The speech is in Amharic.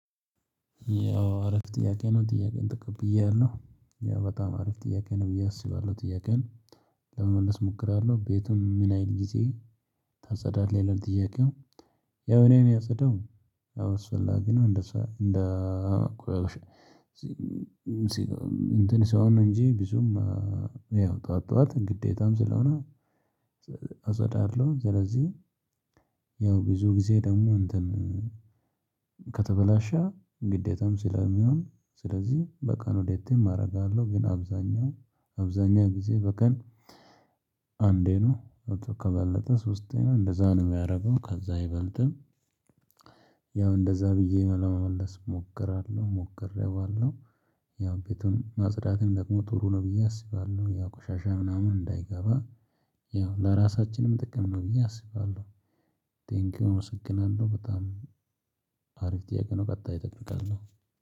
ያው አረፍ ጥያቄ ነው ጥያቄን ጥቁብ ብያለሁ ያው በጣም አረፍ ጥያቄ ነው ብዬ አስባለሁ ጥያቄን? ለመመለስ ሞክራለሁ ቤቱም ምን አይነት ጊዜ ታጸዳለህ ይላል ጥያቄው። ያው አኔ ማጸዳው ያው አስፈላጊ ነው። አንደ ቁአስትዖን አንትን ሲሆን ነው አንጂ ብዙም ያው ጠዋት ጠዋት ግዴታም ስለሆነ አፀዳለው። ስለዚህ ያው ብዙ ጊዜ ደሞ አንትን ከተበላሸ ግዴታም ስለሚሆን ስለዚህ በቀን ሁለቴም አደርጋለው። ግን አብዛኛው አብዛኛው ጊዜ በቀን አንዴ ነው መቶ ከበለጠ ሶስቴ ነው አንደዛ ነው ማደርገው ከዛ አይበልጥም። ያው አንደዛ ብዬ ለመመለስ ሞክራለው ሞክረዋለው። ያው ቤቱን ማፅዳትም ደሞ ጥሩ ነው ብዬ አስባለው። ያው ቆሻሻ አንዳይገባ ያው ለራሳችንም ጥቅም ነው ብዬ አስባለው። ትሃንቅ ዮዑር አመሰግናለሁ በጣም አሪፍ ጥያቄ ነው። ቀጣይ አጠብቃለሁ